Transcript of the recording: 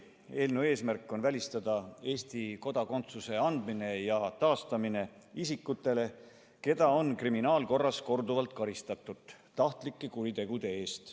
Eelnõu eesmärk on välistada Eesti kodakondsuse andmine ja taastamine isikutele, keda on kriminaalkorras korduvalt karistatud tahtlike kuritegude eest.